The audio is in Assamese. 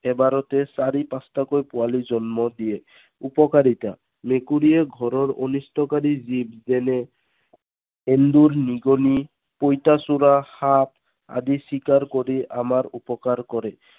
এবাৰতে চাৰি পাঁচটাকৈ পোৱালী জন্ম দিয়ে। উপকাৰিতা। মেকুৰীয়ে ঘৰৰ অনিষ্টকাৰী জীৱ যেনে এন্দুৰ, নিগনি, পইতাচোৰা, সাপ আদি চিকাৰ কৰি আমাৰ উপকাৰ কৰে।